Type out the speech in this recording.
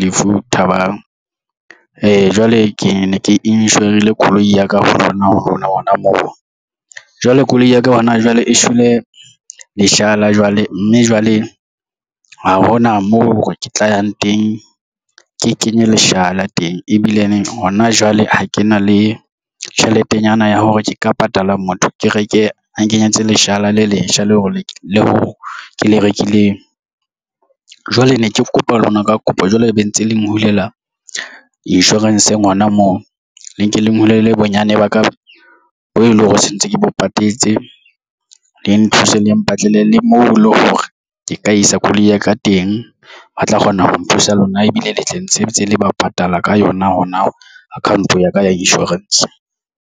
Lefu Thabang . Jwale ke ne ke inshorile koloi ya ka ho lona ho lona ona mona jwale koloi ya ka hona jwale e shwele leshala jwale mme jwale ha hona moo hore ke tla yang teng. Ke kenye leshala teng ebile ene hona jwale ha ke na le tjheletenyana ya hore ke ka patala motho ke reke nkenyetse leshala le letjha leo le leo ke le rekileng jwale ne ke kopa lona ka kopo jwale ebe ntse le nghulela insurance ngwana moo le nke le nghulela bonyane ba ka bo e leng hore se ntse ke bo patetse le nthuse le mpatlele le moo eleng hore ke ka isa koloi ya ka teng ba tla kgona ho nthusa lona ebile le tle ntshetse le ba patala ka yona hona account-ong ya ka ya insurance.